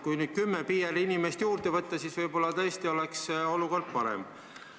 Kui kümme PR-inimest juurde võtta, siis võib-olla tõesti oleks olukord parem.